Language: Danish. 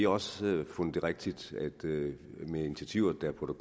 også fundet det rigtigt med initiativer der på